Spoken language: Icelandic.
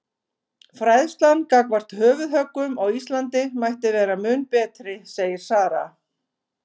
Fræðslan gagnvart höfuðhöggum á Íslandi mætti vera mun betri segir Sara.